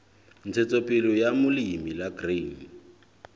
ntshetsopele ya molemi la grain